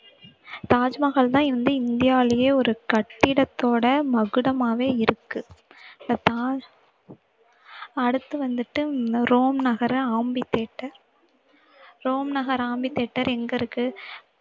தாஜ்மஹால்தான் இந்தியாவிலேயே ஒரு கட்டிடத்தோட மகுடமாவே இருக்கு so தாஜ்~ அடுத்து வந்துட்டு ரோம் நகர amphitheater ரோம் நகர் amphitheater எங்க இருக்கு